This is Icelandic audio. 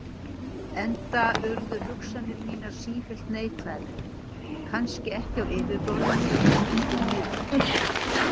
Enda urðu hugsanir mínar sífellt neikvæðari, kannski ekki á yfirborðinu en undir niðri.